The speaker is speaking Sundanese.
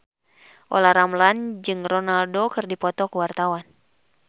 Olla Ramlan jeung Ronaldo keur dipoto ku wartawan